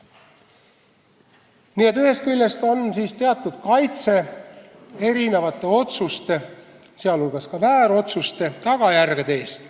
Nii et ühest küljest on see teatud kaitse erinevate otsuste, sh väärotsuste tagajärgede eest.